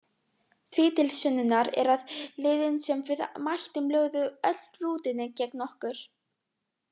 Því til sönnunar er að liðin sem við mættum lögðu öll rútunni gegn okkur,